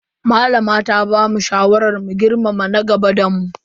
Malama ta bamu shawaran girmama na gaba da mu.